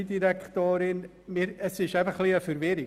Es ist ein bisschen verwirrend.